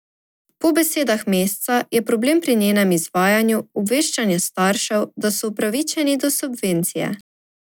Po besedah Mesca je problem pri njenem izvajanju obveščanje staršev, da so upravičeni do subvencije.